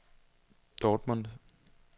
Dortmund